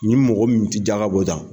Ni mɔgɔ min tɛ jaga bɔjan.